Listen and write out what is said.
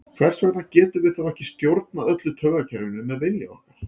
Hvers vegna getum við þá ekki stjórnað öllu taugakerfinu með vilja okkar?